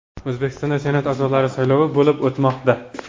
O‘zbekistonda Senat a’zolari saylovi bo‘lib o‘tmoqda.